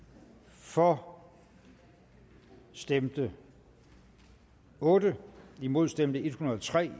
for stemte otte imod stemte en hundrede og tre